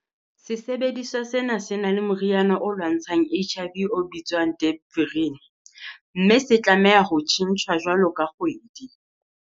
Sesebediswa sena se na le moriana o lwantshang HIV o bitswang dapivirine mme se tlameha ho tjhentjhwa jwalo ka kgwedi.